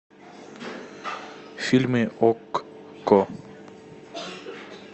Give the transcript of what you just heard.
фильмы окко